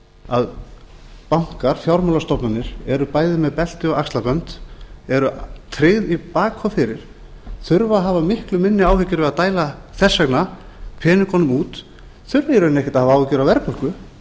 að bankar fjármálastofnanir eru bæði með belti og axlabönd eru tryggð í bak og fyrir þurfa að hafa miklu minni áhyggjur af að dæla þess vegna peningunum út þurfa í rauninni ekkert að hafa áhyggjur af verðbólgu